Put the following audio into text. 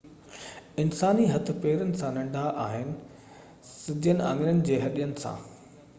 انساني هٿ پيرن سان ننڍا آهن سڌين آڱرين جي هڏين سان